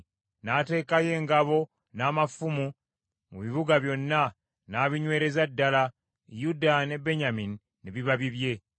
N’ateekayo engabo n’amafumu mu bibuga byonna, n’abinywereza ddala, Yuda ne Benyamini ne biba bibye.